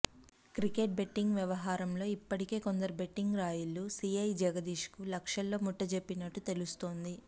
cricket betting వ్యవహారంలో ఇప్పటికే కొందరు బెట్టింగ్ రాయుళ్లు సీఐ జగదీష్ కు లక్షల్లో ముట్టజెప్పినట్టు తెలుస్తోంది